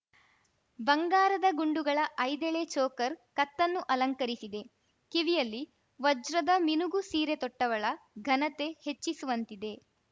ಬಂಗಾರದ ಗುಂಡುಗಳ ಐದೆಳೆ ಚೋಕರ್‌ ಕತ್ತನ್ನು ಅಲಂಕರಿಸಿದೆ ಕಿವಿಯಲ್ಲಿ ವಜ್ರದ ಮಿನುಗು ಸೀರೆ ತೊಟ್ಟವಳ ಘನತೆ ಹೆಚ್ಚಿಸುವಂತಿದೆ